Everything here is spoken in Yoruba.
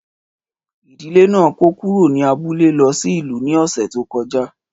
Ìdílé náà kó kúrò ní abúlé lọ sí ìlú ní ọ̀sẹ̀ tó kọjá.